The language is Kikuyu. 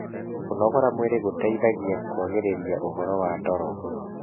kũnogora mwĩrĩ gũteithagia kũagĩrĩrĩa ũhoro wa toro